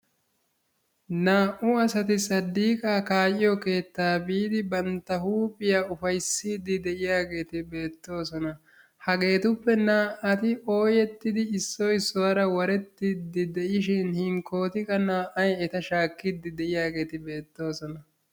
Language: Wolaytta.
Naa"u asati saddiiqaa kaa'iyo keettaa biidi bantta huuphiya ufayissiiddi de'iyageeti beettoosona. Hageetuppe naa"ati ooyettidi issoy issuwaara warettiidi de'ishin hinkkooti qa naa"ay eta shaakkiiddi de'iyageeti beettoosona